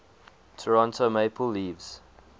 toronto maple leafs